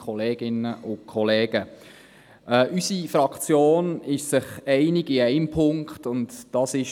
Unsere Fraktion ist sich in einem Punkt einig: